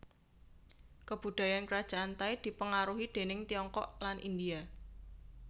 Kabudayan Krajan Thai dipengaruhi déning Tiongkok lan India